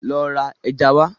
Lọ ra ẹja wá.